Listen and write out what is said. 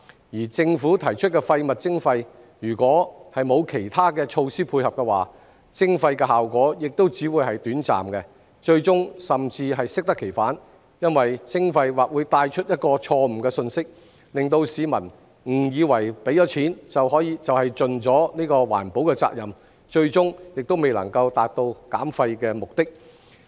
而政府提出廢物徵費，如果沒有其他措施配合的話，徵費的效果亦只會是短暫，最終甚至適得其反，因為徵費或會帶出一個錯誤信息，令市民誤以為付了錢就是盡了環保責任，最終還是未能達到減廢目的。